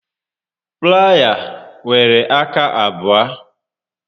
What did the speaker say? Playa nwere aka abụọ